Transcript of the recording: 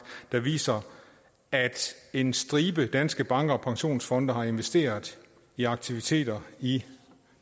der viser at en stribe danske banker og pensionsfonde har investeret i aktiviteter i